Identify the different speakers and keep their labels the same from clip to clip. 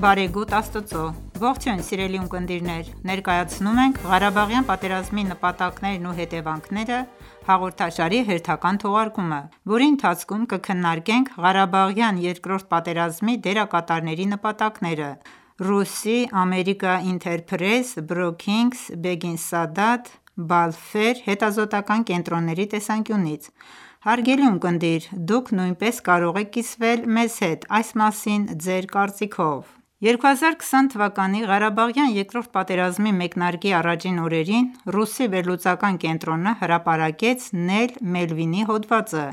Speaker 1: բարեգութ Աստծո: Ողջույն սիրելի ունկնդիրներ: Ներկայացնում ենք «Ղարաբաղյան պատերազմի նպատակներն ու հետևանքները» հաղորդաշարի հերթական թողարկումը, որի ընթացքում կքննարկենք Ղարբաղյան երկրորդ պատերազմի դերակատարների նպատակները՝ RUSI, American Enterprise, Brookings, Begin-Sadat և Belfer հետազոտական կենտրոնների տեսանկյունից:Հարգելի ունկնդիրներ, դուք նույնպես կարող եք կիսվել մեզ հետ այս մասին ձեր կարծիքներով: 2020թ․ Ղարաբաղյան երկրորդ պատերազմի մեկնարկի առաջին օրերին, RUSI վերլուծական կենտրոնը հրապարակեց Նեյլ Մելվինի հոդվածը,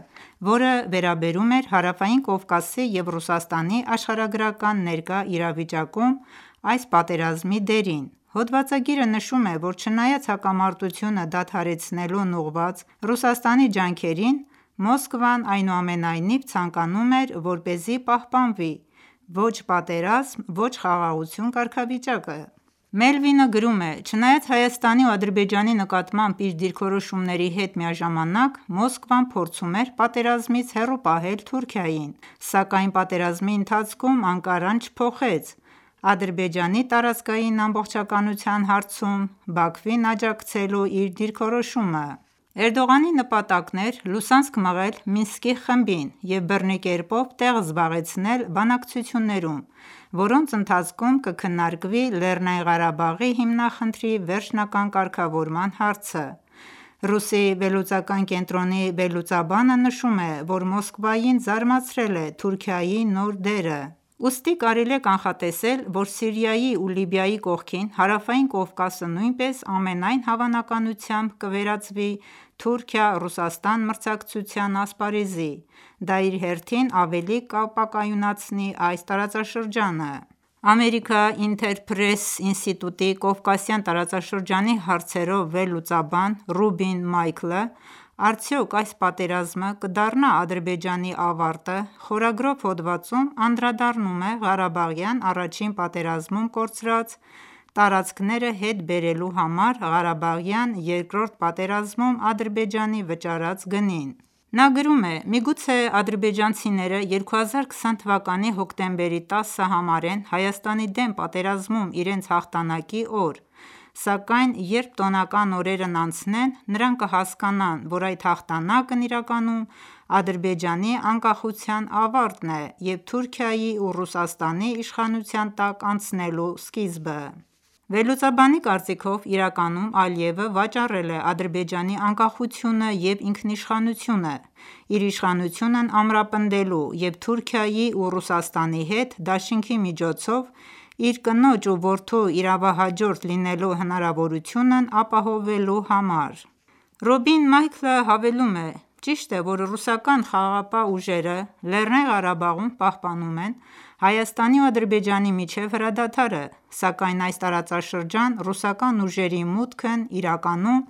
Speaker 1: որը վերաբերում էր Հարավային Կովկասի և Ռուսաստանի աշխարհագրական ներկա իրավիճակում այս պատերազմի դերին: Հոդվածագիրը նշում է, որ չնայած հակամարտությունը դադարեցնելուն ուղղված Ռուսաստանի ջանքերին, Մոսկվան այնուամենայնիվ ցանկանում էր, որպեսզի պահպանվի «ո՛չ պատերազմ, ո՛չ խաղաղություն» կարգավիճակը: Մելվինը գրում է. «Չնայած Հայաստանի ու Ադրբեջանի նկատմամբ իր դիրքորոշումների հետ միաժամանակ Մոսկվան փորձում էր պատերազմից հեռու պահել Թուրքիային, սակայն պատերազմի ընթացքում Անկարան չփոխեց Ադրբեջանի տարածքային ամբողջականության հարցում Բաքվին աջակցելու իր դիրքորոշումը: Էրդողանի նպատակն էր լուսանցք մղել Միսնկի խմբին, և բռնի կերպով տեղ զբաղեցնել բանակցություններում, որոնց ընթացքում կքննարկվի ԼՂ հիմնախնդրի վերջնական կարգավորման հարցը»: RUSI վերլուծական կենտրոնի վերլուծաբանը նշում է, որ Մոսկվային զարմացրել է Թուրքիայի նոր դերը: Ուստի կարելի է կանխատեսել, որ Սիրիայի ու Լիբիայի կողքին, Հարավային Կովկասը նույնպես ամենայն հավանականությամբ, կվերածվի Թուրքիա-Ռուսաստան մրցակցության ասպարզեի: Դա իր հերթին ավելի կապակայունացնի այս տարածաշրջանը: Ղարաբաղը՝ մրցակցության ասպարեզ Թուրքիայոի ու Ռուսաստանի համար American Enterprise ինստիտուտի Կովկասյան տարածաշրջանի հարցերով վերլուծաբան Ռուբին Մայքլը «Արդյոք այս պատերազմը կդառնա՞ Ադրբեջանի ավարտը» խորագրով հոդվածում անդրադառնում է Ղարաբաղյան առաջին պատերազմում կորցրած տարածքները հետ բերելու համար Ղարաբաղյան երկրորդ պատերազմում Ադրբեջանի վճարած գնին: Նա գրում է. «Միգուցե ադրբեջանցիները 2020թ հոկտեմբերի 10-ը համարեն Հայաստանի դեմ պատերազմում իրենց հաղթանակի օր: Սակայն երբ տոնական օրերն անցնեն, նրանք կհասկանան, որ այդ հաղթանակն իրականում Ադրբեջանի անկախության ավարտն է և Թուրքիայի ու Ռուսաստանի իշխանության տակ անցնելու սկիզբը»: Վերլուծաբանի կարծիքով, իրականում Ալիևը վաճառել է Ադրբեջանի անկախությունն ու ինքնիշխանությունը, իր իշխանությունն ամրապնդելու և Թուրքիայի ու Ռուսաստանի հետ դաշինքի միջոցով իր կնոջ ու որդու իրավահաջորդ լինելու հնարավորությունն ապահովելու համար: Ռոբին Մայքլը հավելում է. «Ճիշտ է, որ ռուսական խաղաղապահ ուժերը Լեռնային Ղարաբաղում պահպանում են Հայաստանի ու Ադրբեջանի միջև հրադադարը, սակայն այս տարածաշրջան ռուսական ուժերի մուտքն իրականում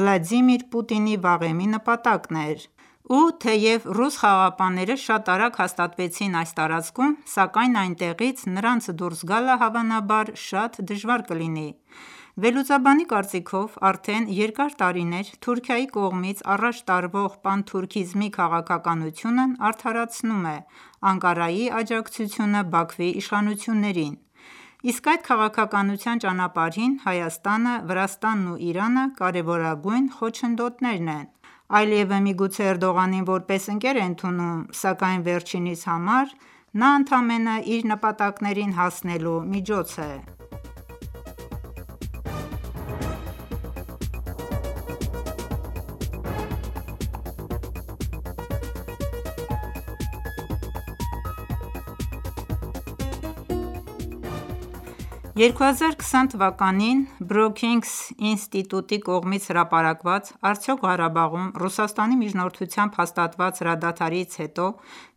Speaker 1: Վլադիմիր Պուտինի վաղեմի նպատակն էր: Ու թեև ռուս խաղաղապահները շատ արագ հաստատվեցին այս տարածքում, սակայն այնտեղից նրանց դուրս գալը հավանաբար շատ դժվար կլինի»: Վերլուծաբանի կարծիքով, արդեն երկար տարիներ, Թուրքիայի կողմից առաջ տարվող Պանթուրքիզմի քաղաքականությունն արդարացնում է Անկարայի աջակցությունը Բաքվի իշխանություններին: Իսկ այդ քաղաքականության ճանապարհին, Հայաստանը, Վրաստանն ու Իրանը կարևորագույն խոչընդոտներն են: Ալիևը միգուցե Էրդողանին որպես ընկեր է ընդունում, սակայն վերջինիս համար նա ընդամենը իր նպատակներին հասնելու միջոց է: 2020թ. Brookings ինտիտուտի կողմից հրապարակված «Արդյոք Ղարաբաղում Ռուսաստանի միջնորդությամբ հաստատված հրադադարից հոտ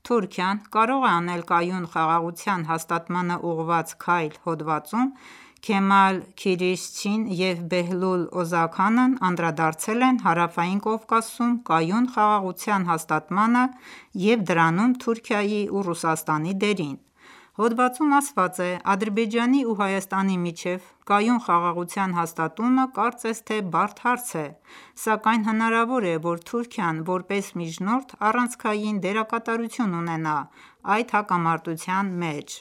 Speaker 1: Թուրքիան կյարո՞ղ է անել կայուն խաղաղության հաստատմանն ուղղված քայլ» հոդվածում, Քեմալ Քիրիշչին և Բեհլուլ Օզաքանն անդրադարձել են Հարավային Կովկասում կայուն խաղաղության հաստատմանը և դրանում Թուրքիայի ու Ռուսաստանի դերին: Հոդվածում ասված է. «Ադրբեջանի ու Հայաստանի միջև կայուն խաղաղության հաստատումը կարծես թե բարդ հարց է: Սակայն հնարավոր է, որ Թուրքիան, որպես միջնորդ, առանցքային դերկատարություն ունենա այդ հակամարտության մեջ: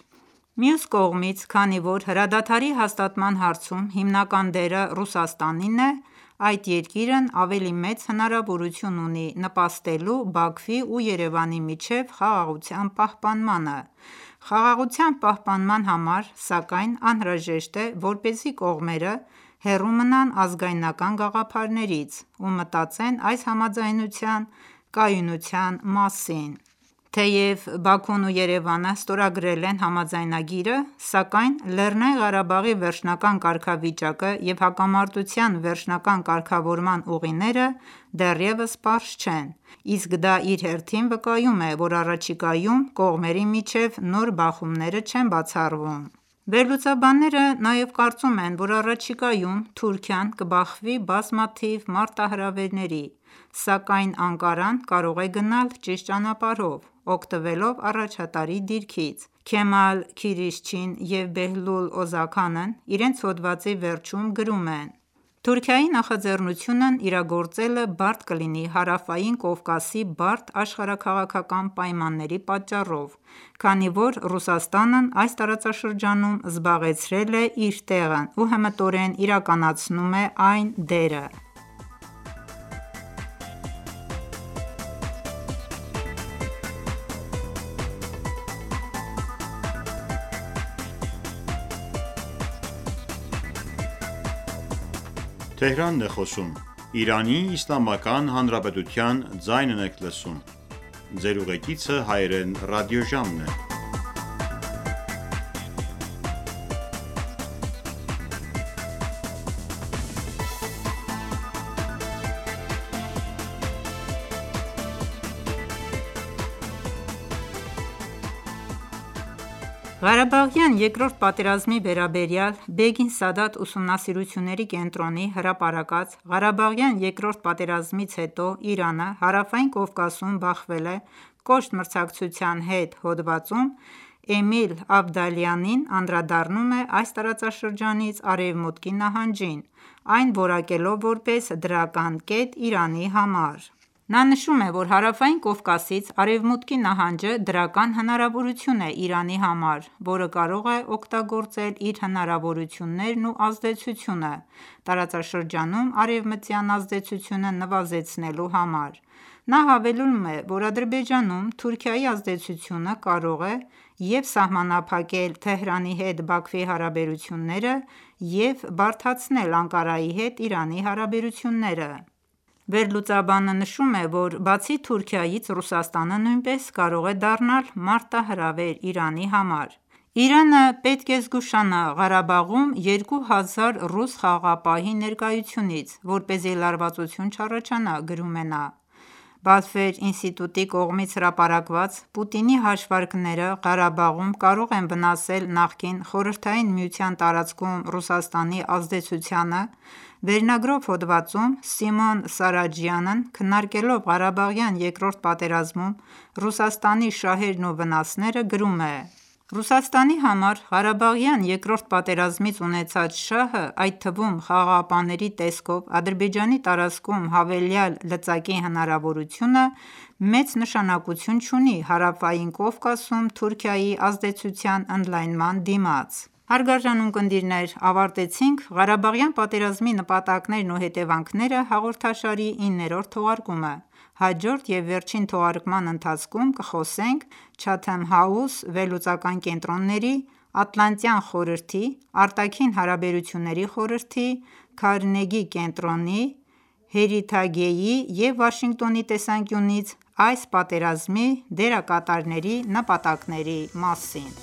Speaker 1: Մյուս կողմից, քանի որ հրադադարի հաստատման հարցում հիմնական դերը Ռուսաստանինն է, այդ երկիրն ավելի մեծ հնարավորություն ունի նպաստելու Բաքվի ու Երևանի միջև խաղաղության պահպանմանը: Խաղաղության պահպանման համար, սակայն, անհրաժեշտ է, որպեսզի կողմերը հեռու մնան ազգայնական գաղափարներից ու մտածեն այս համաձայնության կայունության մասին: Թեև Բաքուն ու Երևանը ստորագրել են համաձայնագիրը, սակայն ԼՂ վերջնական կարգավիճակը և հակամատության վերջնական կարգավորման ուղիները դեռևս պարզ չեն: Իսկ դա իր հերթին վկայում է, որ առաջիկայում կողմերի միջև նոր բախումները չեն բացառվում»: Վերլուծաբանները նաև կարծում են, որ առաջիկայում Թուրքիան կբախվի բազմաթիվ մարտահրավերների: Սակայն Անկարան կարող է գնալ ճիշտ ճանապարհով՝ օգտվելով առաջատարի դիրքից: Քեմալ Քիրիշչին և Բեհլուլ Օզաքանն իրենց հոդվածի վերջում գրում են. «Թուրքիայի նախաձեռնությունն իրագործելը բարդ կլինի Հարավային Կովկասի բարդ աշխարհաքաղաքական պայմանների պատճառով: Քանի որ Ռուսաստանն այս տարածաշրջանում զբաղեցրել է իր տեղն ու հմտորեն իրականացնում է այն դերը: Ռուսաստանը փորձում է բացառապես միջնորդի դեր խաղալ Հայաստանի և Ադրբեջանի միջև Ղարաբաղյան երկրորդ պատերազմի վերաբերյալ Begin-Sadat ուսումնասիրությունների կենտրոնի հրապարակած «Ղարաբաղյան երկրորդ պատերազմից հետո Իրանը Հարավային Կովկասում բախվել է կոշտ մրցակցության հետ» հոդվածում, Էմիլ Ավդալիանին անդրադառնում է այս տարածաշրջանից Արևմուտքի նահանջին, այն որակելով որպես դրական կետ Իրանի համար: Նա նշում է, որ Հարավային Կովկասից Արևմուտքի նահանջը դրական հնարավորություն է Իրանի համար, որը կարող է օգտագործել իր հնարավորություններն ու ազդեցությունը՝ տարածաշրջանում արևմտյան ազդեցությունը նվազեցնելու համար: Նա հավելում է, որ Ադրբեջանում Թուրքիայի ազդեցությունը կարող է և՛ սահմանափակել Թեհրանի հետ Բաքվի հարաբերությունները, և՛ բարդացնել Անկարայի հետ Իրանի հարաբերությունները: Վերլուծաբանը նշում է, որ բացի Թւրքայից, Ռուսաստանը նույնպես կարող է դառնալ մարտահրավեր Իրանի համար: «Իրանը պետք է զգուշանա Ղարաբաղում 2 հազար ռուս խաղաղապահի ներկայությունից, որպեսզի լարվածություն չառաջանա»,- գրում էնա: Belfer ինստիտուտի կողմից հրապարակված՝ «Պուտինի հաշվարկները Ղարաբաղում կարող են վնասել նախկին ԽՍՀՄ տարածքում Ռուսաստանի ազդեցությանը» վերնագրով հոդվածում, Սիմոն Սարաջյանը, քննարկելով Ղարաբաղյան երկրորդ պատերազմում Ռուսաստանի շահերն ու վնասները, գրում է. «Ռուսաստանի համար Ղարաբաղյան երկրորդ պատերազմից ունեցած շահը, այդ թվում՝ խաղաղապահների տեսքով Ադրբեջանի տարածքում հավելյալ լծակի հնարավորությունը, մեծ նշանակություն չունի՝ Հարավային կովկասում Թուրքիայի ազդեցության ընդյալնման դիմաց»: Հարգելի ունկնդիրներ, ավարտեցինք «Ղարաբաղյան պատերզմի նպատակներն ու հետևանքները» հաղորդաշարի իններորդ թողարկումը: Հաջորդ և վերջին թողարկման ընթացքում կխոսենք Chatham House վերլուծական կենտրոնների, Ատլանտյան խորհրդի, Արտաքին հարաբերությունների խորհրդի, Քարնեգի կենտրոնի, Heritage-ի և Վաշինգտոնի տեսանկյունից այս պատերազմի դերկաատարների նպատակների մասին: